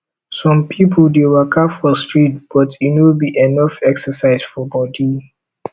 some pipo dey waka for street but e no be enough exercise for body